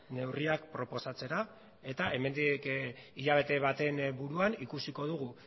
neurriak proposatzera eta hemendik hilabete baten buruan ikusiko dugu